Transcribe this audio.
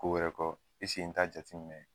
Ko wɛrɛ kɔ n t'a jateminɛ